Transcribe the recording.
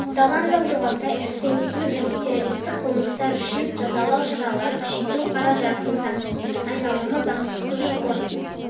аталған заң жобасы экстремистік және террористік қылмыстар үшін жазалау шараларын күшейту қару-жарақтың заңсыз айналымы заңсыз көші-қон